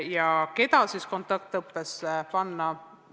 Aga keda siis kontaktõppesse panna?